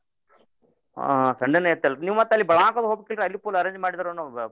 ಹಾ Sunday ಇತ್ತಲ್ರಿ ನೀವ್ ಮತ್ ಅಲ್ಲೇ ಬೆಳ್ಗಾವ್ಕದು ಹೋಬೇಕಿಲ್ರೀ ಅಲ್ಲಿ full arrange ಮಾಡಿದ್ರನ್ವ್ರ.